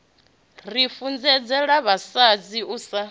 ri funzedzela vhasadzi u sa